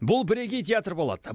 бұл бірегей театр болады